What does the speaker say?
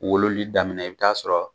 Wololi daminɛ i bi t'a sɔrɔ